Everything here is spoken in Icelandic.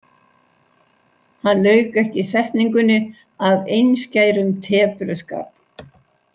Hann lauk ekki setningunni af einskærum tepruskap.